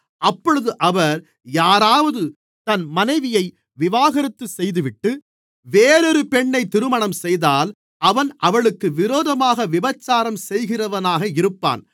அப்பொழுது அவர் யாராவது தன் மனைவியை விவாகரத்து செய்துவிட்டு வேறொரு பெண்ணைத் திருமணம்செய்தால் அவன் அவளுக்கு விரோதமாக விபசாரம் செய்கிறவனாக இருப்பான்